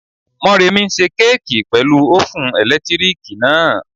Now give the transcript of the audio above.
Morẹ́nikẹ́ n ṣe kéèkì pẹ̀lú ófùn ẹ̀lẹ́tíríkì náà